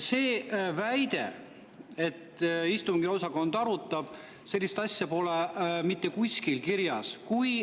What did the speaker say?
Seda väidet, sellist asja, et istungiosakond arutab, pole mitte kuskil kirjas.